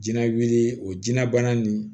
Jinɛ wuli o jɛnbana nin